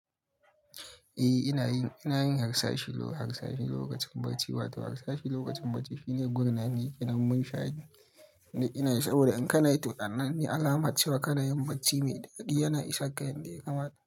Eh, ina yin, ina yin harsashi, harsashi lokacin bacci wato harsashi lokacin bacci shine gurnani kenan munshari duk inayi saboda in kana yi to wannan ne alamar cewa kana yin bacci mai daɗi yana isan ka yanda ya kamata.